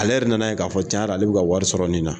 Ale yɛrɛ nana ye k'a fɔ tiɲɛ yɛrɛ la ale bɛ ka wari sɔrɔ nin na.